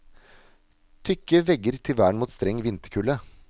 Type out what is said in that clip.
Tykke vegger til vern mot streng vinterkulde.